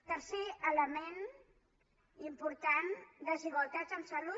tercer element important desigualtats en salut